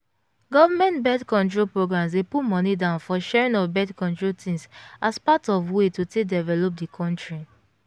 government birth control programs dey put money down for sharing of birth-control thingsas part of way to take develop the country